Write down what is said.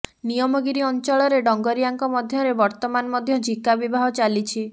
ନିୟମଗିରି ଅଞ୍ଚଳରେ ଡଙ୍ଗରିଆଙ୍କ ମଧ୍ୟରେ ବର୍ତ୍ତମାନ ମଧ୍ୟ ଝିକା ବିବାହ ଚାଲିଛି